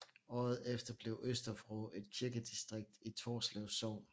Året efter blev Østervrå et kirkedistrikt i Torslev Sogn